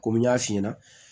Komi n y'a f'i ɲɛna